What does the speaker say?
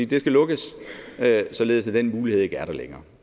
de skal lukkes således at den mulighed ikke er der længere